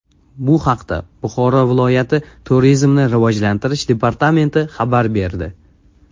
Bu haqda Buxoro viloyati turizmni rivojlantirish departamenti xabar berdi .